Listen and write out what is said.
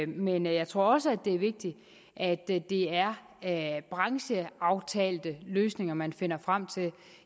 men jeg tror også at det er vigtigt at det er brancheaftalte løsninger man finder frem til